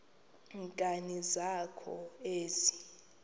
nkani zakho ezi